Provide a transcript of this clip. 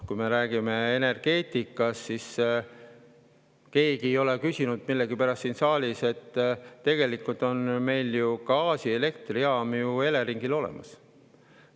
Kui me räägime energeetikast, siis keegi siin saalis ei ole küsinud millegipärast selle kohta, et tegelikult on ju gaasielektrijaam Eleringil olemas.